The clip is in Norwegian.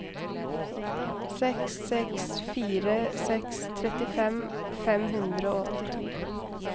seks seks fire seks trettifem fem hundre og åttito